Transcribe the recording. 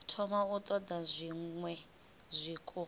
thoma u ṱoḓa zwiṅwe zwiko